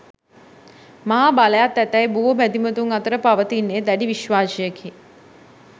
මහා බලයත් ඇතැයි බොහෝ බැතිමතුන් අතර පවතින්නේ දැඩි විශ්වාසයකි.